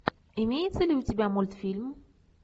имеется ли у тебя мультфильм